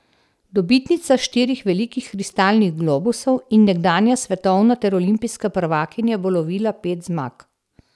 Dobitnica štirih velikih kristalnih globusov in nekdanja svetovna ter olimpijska prvakinja bo lovila pet zmag.